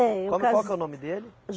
É eu cas. Qual que qual que é o nome dele?